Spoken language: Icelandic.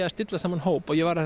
að stilla saman hóp og ég var að